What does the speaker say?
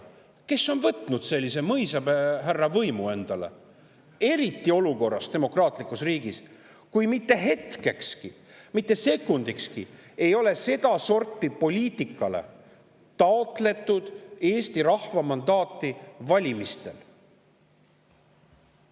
Kes on võtnud sellise mõisahärra võimu endale, eriti demokraatlikus riigis ja olukorras, kus mitte hetkekski, mitte sekundikski ei ole valimistel sedasorti poliitikale Eesti rahva mandaati taotletud?